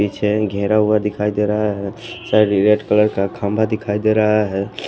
पीछे घेरा हुआ दिखाई दे रहा है सारी रेड कलर का खांबा दिखाई दे रहा है।